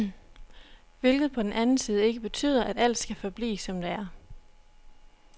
Hvilket på den anden side ikke betyder, at alt skal forblive, som det er.